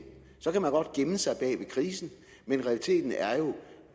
så kan man godt gemme sig bag ved krisen men realiteten er jo